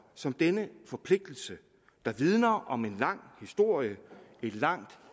som denne forpligtelse der vidner om en lang historie et langt